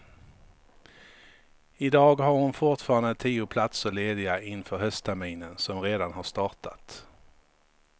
I dag har hon fortfarande tio platser lediga inför höstterminen som redan har startat.